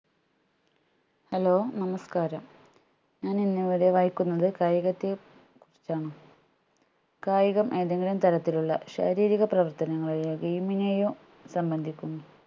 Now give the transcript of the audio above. hello നമസ്ക്കാരം ഞാൻ ഇന്നിവിടെ വായിക്കുന്നത് കായികത്തെ കുറിച്ചാണ് കായികം ഏതെങ്കിലും തരത്തിലുള്ള ശാരീരിക പ്രവർത്തനങ്ങളെയോ game നെയോ സംബന്ധിക്കും